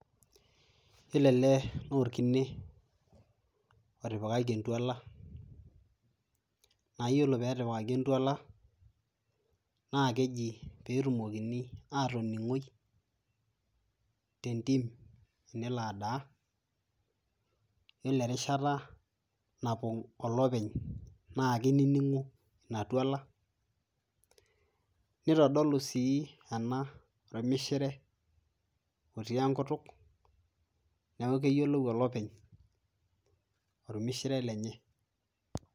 yiolo ele naa orkine otipikaki entuala naa yiolo peetipikaki entuala naa keji petumokini atoning'oi tentim tenelo adaa yiolo erishata napong olopeny naa kinining'u ina tuala nitodolu sii ena ormishire otii enkutuk neeku keyiolou olopeny ormishire lenye.